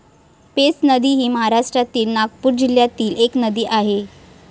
पेंच नदी हि महाराष्ट्रातील नागपूर जिल्यातील एक नदी आहे.